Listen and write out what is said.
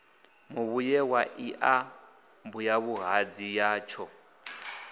muvhuye wa iḽa mbuyavhuhadzi yatsho